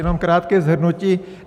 Jenom krátké shrnutí.